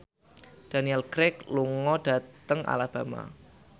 Daniel Craig lunga dhateng Alabama